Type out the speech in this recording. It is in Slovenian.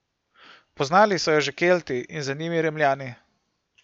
Poznali so jo že Kelti in za njimi Rimljani.